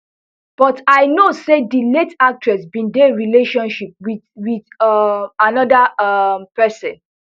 but i know say di late actress bin dey relationship wit wit um anoda um pesin